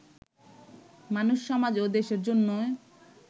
মানুষ, সমাজ ও দেশের জন্যই